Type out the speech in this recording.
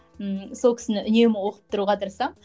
ммм сол кісіні үнемі оқып тұруға тырысамын